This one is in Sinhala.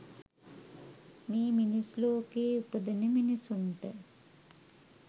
මේ මිනිස් ලෝකයේ උපදින මිනිසුන්ට